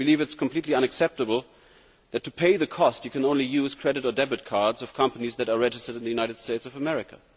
I believe it is completely unacceptable that to pay the cost, you can only use credit or debit cards of companies which are registered in the United States of America.